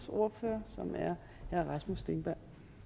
ordfører så